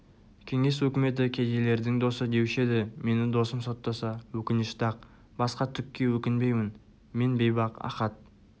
кеңес өкіметі кедейлердің досы деуші еді мені досым соттаса өкінішті-ақ басқа түкке өкінбеймін мен бейбақ ахат